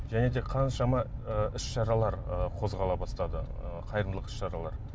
және де қаншама ы іс шаралар ы қозғала бастады ы қайырымдылық іс шаралары